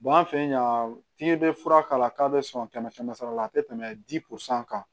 an fɛ yan fiɲɛ bɛ fura k'a la k'a bɛ sɔn kɛmɛ kɛmɛ sara la a tɛ tɛmɛ di kan